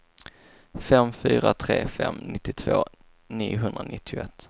fem fyra tre fem nittiotvå niohundranittioett